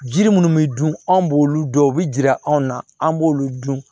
Ji minnu bɛ dun anw b'olu dɔn u bɛ jira anw na an b'olu dun